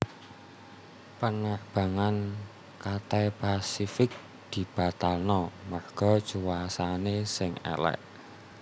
Penerbangan Cathay Pacific dibatalno merga cuacane sing elek